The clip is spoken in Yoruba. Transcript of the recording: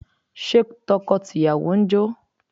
Ṣé tọkọ tìyàwó ń jó?